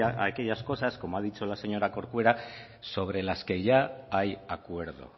traer aquellas cosas como ha dicho la señora corcuera sobre las que ya hay acuerdo